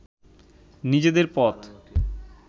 নিজেদের পথ